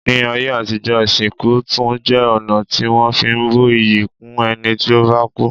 Ní ayé àtijọ́, ìsìnkú tún jẹ́ ọ̀nà tí wọ́n fi ń bu iyì kún ẹni tí ó bá kú.